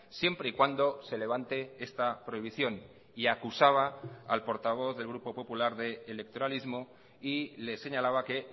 siempre y cuando se levante esta prohibición y acusaba al portavoz del grupo popular de electoralismo y le señalaba que